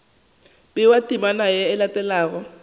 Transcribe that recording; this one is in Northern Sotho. bewa temana ye e latelago